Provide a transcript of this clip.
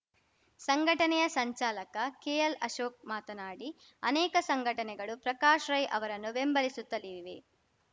ಸಂಘಟನೆಯ ಸಂಚಾಲಕ ಕೆಎಲ್‌ ಅಶೋಕ್‌ ಮಾತನಾಡಿ ಅನೇಕ ಸಂಘಟನೆಗಳು ಪ್ರಕಾಶ್‌ ರೈ ಅವರನ್ನು ಬೆಂಬಲಿಸುತ್ತಲಿವೆ